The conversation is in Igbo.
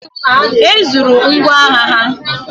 E zuru ngwọagha ha.